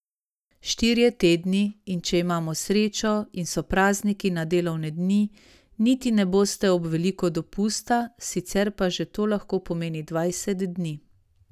Štirje tedni, in če imamo srečo in so prazniki na delovne dni, niti ne boste ob veliko dopusta, sicer pa že to lahko pomeni dvajset dni.